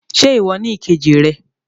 Ṣe iwọ ni ìkejì rẹ?